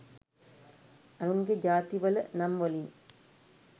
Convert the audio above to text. අනුන්ගෙ ජාතිවල නම් වලින්